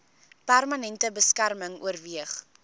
permanente beskerming oorweeg